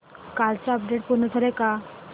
कालचं अपडेट पूर्ण झालंय का